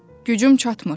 Gücüm çatmır.